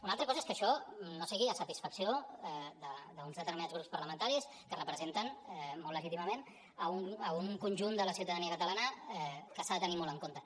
una altra cosa és que això no sigui de satisfacció d’uns determinats grups parla·mentaris que representen molt legítimament a un conjunt de la ciutadania catala·na que s’ha de tenir molt en compte